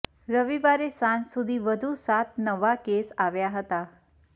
રવિવારે સાંજ સુધી વધુ સાત નવા કેસ આવ્યા હતા